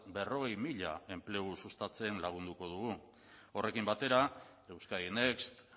berrogei mila enplegu sustatzen lagunduko dugu horrekin batera euskadi next